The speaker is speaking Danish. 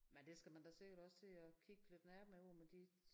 Men det skal man da sikkert også til at kigge lidt nærmere på med de